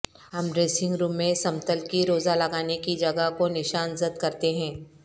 ہم dressing room میں سمتل کی روزہ لگانے کی جگہ کو نشان زد کرتے ہیں